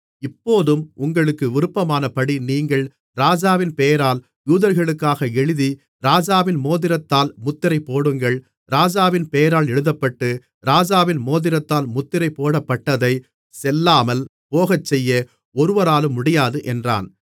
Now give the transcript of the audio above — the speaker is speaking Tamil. இப்போதும் உங்களுக்கு விருப்பமானபடி நீங்கள் ராஜாவின் பெயரால் யூதர்களுக்காக எழுதி ராஜாவின் மோதிரத்தால் முத்திரை போடுங்கள் ராஜாவின் பெயரால் எழுதப்பட்டு ராஜாவின் மோதிரத்தால் முத்திரை போடப்பட்டதைச் செல்லாமல் போகச்செய்ய ஒருவராலும் முடியாது என்றான்